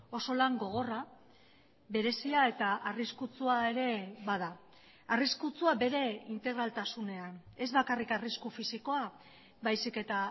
oso lan gogorra berezia eta arriskutsua ere bada arriskutsua bere integraltasunean ez bakarrik arrisku fisikoa baizik eta